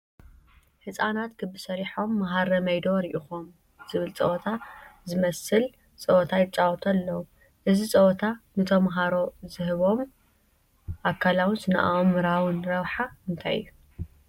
ህፃናት ክቢ ሰሪሆም መሃረበይ ዶ ርኢኹም ዝበሃል ፀወታ ዝመስል ፀወታ ይፃወቱ ኣለዉ፡፡ እዚ ፀወታ ንተመሃሮ ዝህቦም ኣካላውን ስነ ኣእምሮኣዊን ረብሓ እንታይ እዩ?